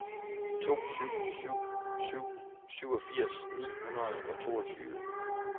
to syv syv syv syvogfirs ni hundrede og toogtyve